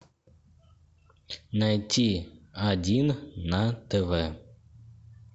найти один на тв